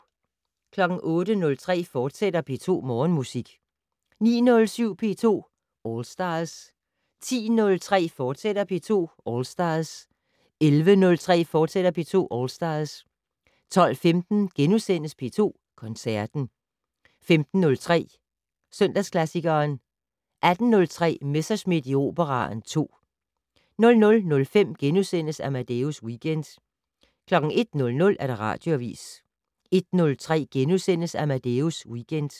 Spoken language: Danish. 08:03: P2 Morgenmusik, fortsat 09:07: P2 All Stars 10:03: P2 All Stars, fortsat 11:03: P2 All Stars, fortsat 12:15: P2 Koncerten * 15:03: Søndagsklassikeren 18:03: Messerschmidt i Operaen II 00:05: Amadeus Weekend * 01:00: Radioavis 01:03: Amadeus Weekend *